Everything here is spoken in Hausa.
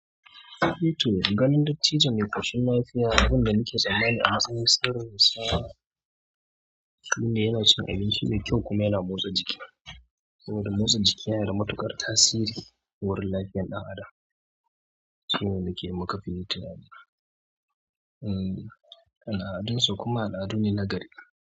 Eh to ganin dattijo mai ƙoshin lafiya, abin da nake tsammani a matsayin sirrinsa shine yana cin abinci mai kyau kuma yana motsa jiki. Saboda motsa jiki yana da matuƙar tasiri wurin lafiyar ɗan adam shi ne nake makafi tunani. Hmm al'adunsu kuma al'adu ne na gari.